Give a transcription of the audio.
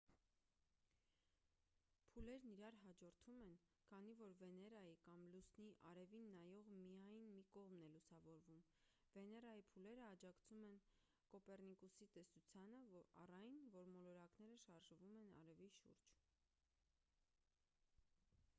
փուլերն իրար հաջորդում են քանի որ վեներայի կամ լուսնի արևին նայող միայն մի կողմն է լուսավորվում: վեներայի փուլերը աջակցում են կոպեռնիկոսի տեսությանը առ այն որ մոլորակները շարժվում են արևի շուրջ: